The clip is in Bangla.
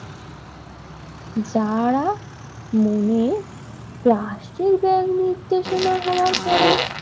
যারা মোমের প্লাস্টিক ব্যাগ নির্দেশনা হওয়ার পরে